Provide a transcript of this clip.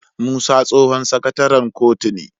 Musa tsohon sakataren kotun ne